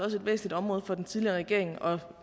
også et væsentligt område for den tidligere regering og